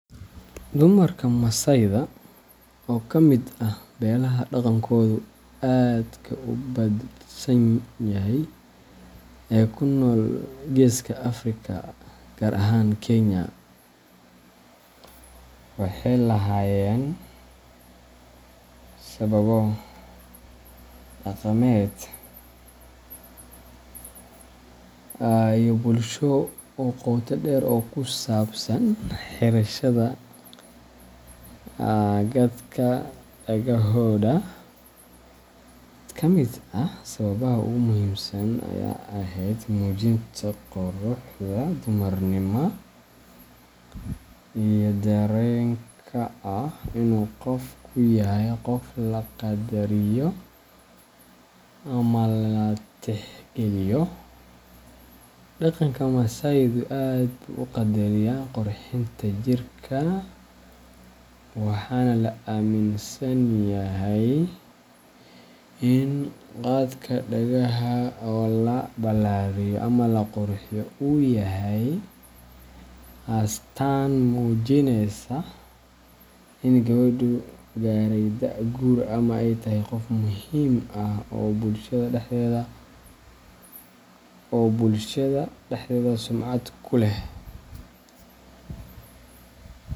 Dumarka Masaayda, oo ka mid ah beelaha dhaqankoodu aadka u hodansan yahay ee ku nool Geeska Afrika, gaar ahaan Kenya , waxay lahaayeen sababo dhaqameed iyo bulsho oo qoto dheer oo ku saabsan xirashada gadhka dhagahooda. Mid ka mid ah sababaha ugu muhiimsan ayaa ahayd muujinta quruxda, dumarnimadda, iyo dareenka ah in qofku yahay qof la qaddariyo ama la tixgeliyo. Dhaqanka Masaaydu aad buu u qadariyaa qurxinta jirka, waxaana la aaminsan yahay in gadhka dhagaha oo la ballaariyo ama la qurxiyo uu yahay astaan muujinaysa in gabadhu gaaray da’da guurka ama ay tahay qof muhiim ah oo bulshada dhexdeeda sumcad ku leh.